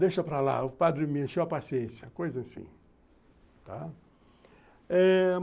Deixa para lá, o padre me encheu a paciência, coisa assim, tá. Eh...